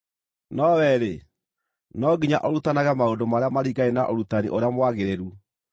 No wee-rĩ, no nginya ũrutanage maũndũ marĩa maringaine na ũrutani ũrĩa mwagĩrĩru.